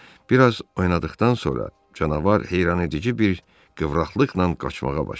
Bir az oynadıqdan sonra canavar heyrangedici bir qıvraqlıqla qaçmağa başladı.